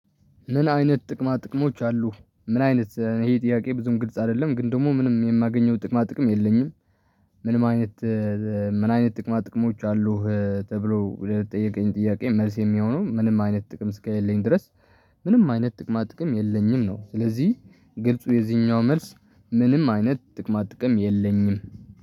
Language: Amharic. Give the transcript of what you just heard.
ምን አይነት ጥቅማ ጥቅሞች አሉ? ምን አይነት ይሄ ጥያቄ ብዙም ግልጽ አይደለም ግን ደግሞ ምንም የማገኘው ጥቅማ ጥቅም የለኝም። ምንም አይነት ምን አይነት ጥቅማ ጥቅሞች አሉህ? ተብሎ ለተጠየቀኝ ጥያቄ መልስ የሚሆነው ምንም አይነት ጥቅም እስከሌለኝ ድረስ ምንም አይነት ጥቅማ ጥቅም የለኝም ነው። ስለዚህ ግልጹ የዚህኛው መልስ ምንም አይነት ጥቅማ ጥቅም የለኝም።